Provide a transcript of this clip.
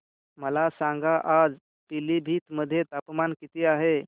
मला सांगा आज पिलीभीत मध्ये तापमान किती आहे